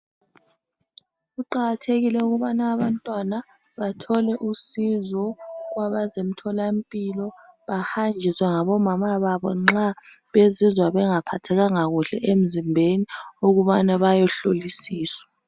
Kuqakathekile ukubana abantwana bathole usizo kwabazemtholampilo, bahanjiswe ngabomama babo nxa bezizwa bengaphathekanga kahle emzimbeni ukubana bayehlolisiswa.